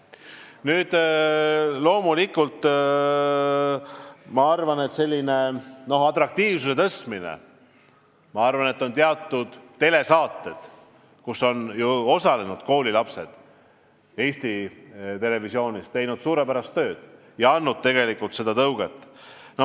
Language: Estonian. Loomulikult ma arvan, et teaduse atraktiivsuse tõstmisel on teatud telesaated Eesti Televisioonis, kus on osalenud koolilapsed, teinud suurepärast tööd ja andnud seda tõuget.